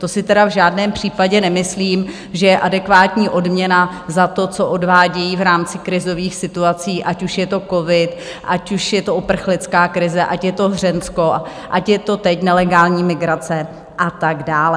To si tedy v žádném případě nemyslím, že je adekvátní odměna za to, co odvádějí v rámci krizových situací, ať už je to covid, ať už je to uprchlická krize, ať je to Hřensko, ať je to teď nelegální migrace a tak dále.